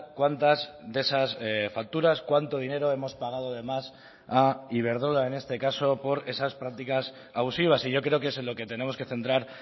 cuántas de esas facturas cuánto dinero hemos pagado de más a iberdrola en este caso por esas prácticas abusivas y yo creo que es en lo que tenemos que centrar